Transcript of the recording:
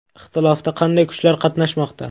Ixtilofda qanday kuchlar qatnashmoqda?